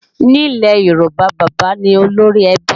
Ní ilé Yorùbá, bábà ní olórí ẹbí